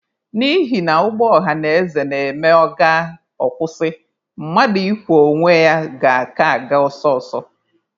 N'ihina ụgbọ ọhanaeze na-eme ọ gaa, ọ kwụsị, mmadụ ịkwọ onwe ya ga-aka aga ọsọ ọsọ.